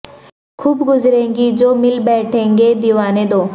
خوب گزرے گی جو مل بیٹھیں گے دیوانے دو